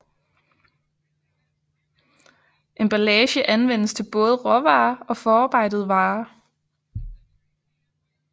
Emballage anvendes til både råvarer og forarbejdede varer